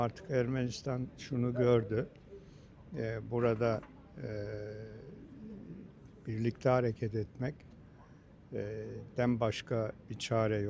Ama artıq Ermənistan şunu gördü: eee, burada eee, birlikte hareket etmek, eee, dən başka bir çare yox.